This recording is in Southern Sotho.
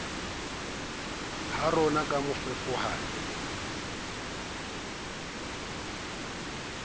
ya roma ha mafefowane ke